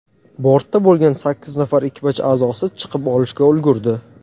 Bortda bo‘lgan sakkiz nafar ekipaj a’zosi chiqib olishga ulgurdi.